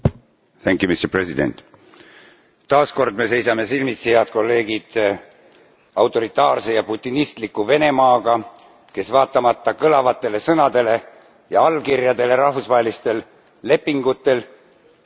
Taas kord me seisame silmitsi, head kolleegid, autoritaarse ja putinistliku Venemaaga, kes vaatamata kõlavatele sõnadele ja allkirjadele rahvusvahelistel lepingutel käitub nagu metsaline.